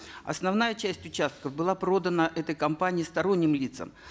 основная часть участков была продана этой компанией сторонним лицам